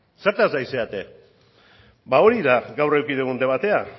zertaz ari zarete hori da gaur eduki dugun debatea